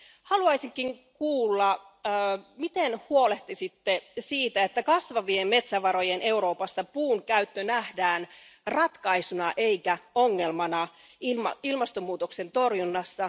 Haluaisinkin kuulla, miten huolehtisitte siitä, että kasvavien metsävarojen Euroopassa puunkäyttö nähdään ratkaisuna eikä ongelmana ilmastonmuutoksen torjunnassa.